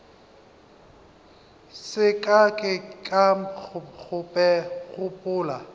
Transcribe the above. se ka ke ka gopola